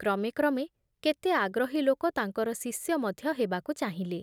କ୍ରମେ କ୍ରମେ କେତେ ଆଗ୍ରହୀ ଲୋକ ତାଙ୍କର ଶିଷ୍ୟ ମଧ୍ୟ ହେବାକୁ ଚାହିଁଲେ ।